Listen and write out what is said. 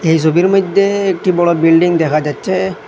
এই সোবির মইদ্যে একটি বড় বিল্ডিং দেখা যাচ্চে।